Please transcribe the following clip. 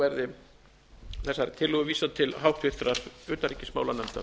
verði þessari tillögu vísað til háttvirtrar utanríkismálanefndar